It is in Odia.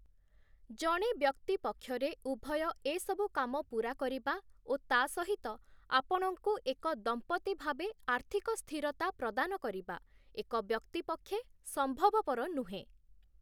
ଜଣେ ବ୍ୟକ୍ତି ପକ୍ଷରେ ଉଭୟ ଏସବୁ କାମ ପୁରା କରିବା ଓ ତା' ସହିତ ଆପଣଙ୍କୁ ଏକ ଦମ୍ପତି ଭାବେ ଆର୍ଥିକ ସ୍ଥିରତା ପ୍ରଦାନ କରିବା, ଏକ ବ୍ୟକ୍ତି ପକ୍ଷେ ସମ୍ଭବପର ନୁହେଁ ।